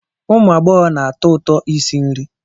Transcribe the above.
Ụmụ agbọghọ na-atọ ụtọ isi nri